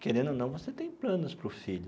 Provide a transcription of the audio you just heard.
Querendo ou não, você tem planos para o filho.